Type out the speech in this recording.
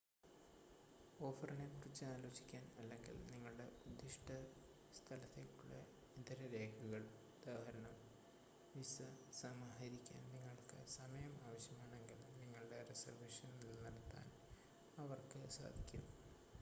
ഓഫറിനെക്കുറിച്ച് ആലോചിക്കാൻ അല്ലെങ്കിൽ നിങ്ങളുടെ ഉദ്ദിഷ്ട സ്ഥലത്തേക്കുള്ള ഇതര രേഖകൾ ഉദാ: വിസ സമാഹരിക്കാൻ നിങ്ങൾക്ക് സമയം ആവശ്യമാണെങ്കിൽ നിങ്ങളുടെ റിസർവേഷൻ നിലനിർത്താൻ അവർക്ക് സാധിക്കും